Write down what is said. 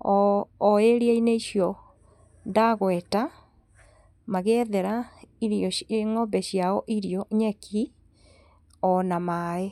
o ĩria-inĩ icio ndagweta magĩethera ng'ombe ciao irio nyeki ona maĩ.